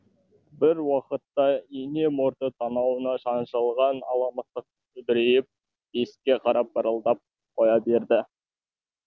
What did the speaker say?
бір уақытта ине мұрты танауына шаншылған ала мысық үдірейіп бесікке қарап бырылдап қоя береді